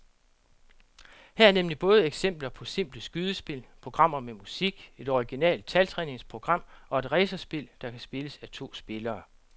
Her er nemlig både eksempler på simple skydespil, programmer med musik, et originalt taltræningsprogram og et racerspil, der kan spilles af to spillere.